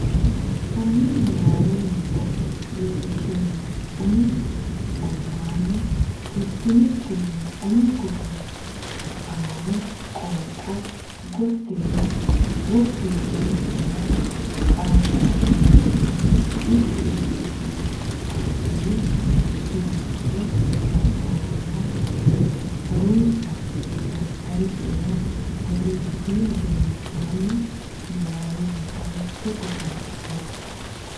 hanni niwaawennita loonsummo umi gobbaanni fultinikkinni umi gufo ani qoonqo gottinna woffi wodani nera qaagamannore mitti mitti ne assanni suwise nabbawanna ha runse daftari nera borreessitinihu gedensaanni Niwaawennita mitte gufo nabbabbe.